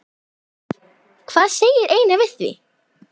Hvað segir Einar við því?